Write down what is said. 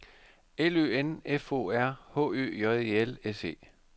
L Ø N F O R H Ø J E L S E